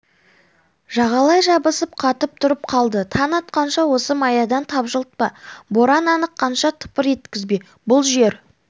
жағалай жабысып қатып тұрып қалды таң атқанша осы маядан тапжылтпа боран аныққанша тыпыр еткізбе бұл жер